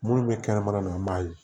Munnu bɛ kɛnɛmana na an b'a ye